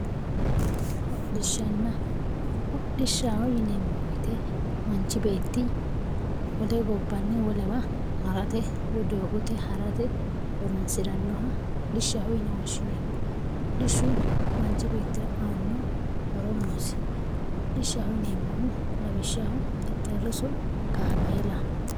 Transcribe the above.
Hodishana hodhishaho yinemo woyite manchi beti wole gobanni wolewa haratte woy dogote harate horonsiranoha hodhishaho yine woshinemo hodhishu manchi betira ano horo nosi hodhishaho yinemohu lawishaho xexerisu kamelaho